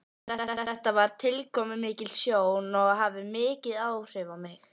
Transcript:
Þetta var tilkomumikil sjón og hafði mikil áhrif á mig.